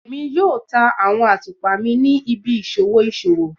Emi yoo ta awọn atupa mi ni ibi iṣowo iṣowo